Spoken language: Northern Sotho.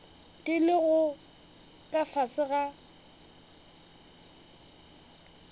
di lego ka fase ga